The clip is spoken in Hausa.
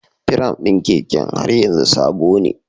Firam ɗin keken har yanzu sabone.